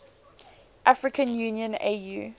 african union au